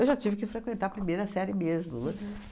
já tive que frequentar a primeira série mesmo, né?